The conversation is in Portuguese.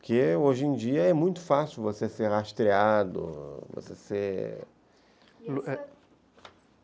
Porque hoje em dia é muito fácil você ser rastreado, você ser...